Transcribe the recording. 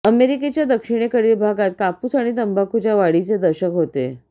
अमेरिकेच्या दक्षिणेकडील भागांत कापूस आणि तंबाखूच्या वाढीचे दशक होते